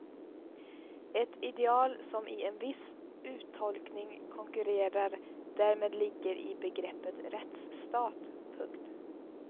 Ett ideal som i en viss uttolkning konkurrerar därmed ligger i begreppet rättsstat. punkt